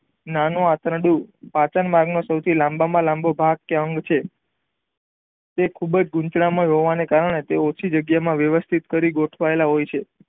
નાનું આંતરડું પાચન માર્ગ નો લાંબા માં લાંબો ભાગ કે અંગ છે તે ખુબજ ગૂંચળાંમય હોવાને કારણે તે ઓછી જગ્યા માં વ્યથિત કરી ગોઠવાયેલા હોય છે.